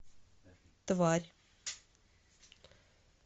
тварь